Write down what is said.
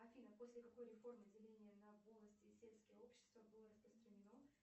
афина после какой реформы деления на полости и сельские общества было распространено